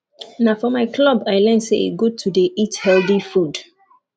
na for my club i learn say e good to dey eat healthy food